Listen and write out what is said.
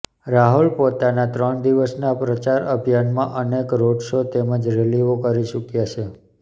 રાહુલ પોતાના ત્રણ દિવસના પ્રચાર અભિયાનમાં અનેક રોડ શો તેમજ રેલીઓ કરી ચૂક્યા છે